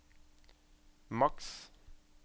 maks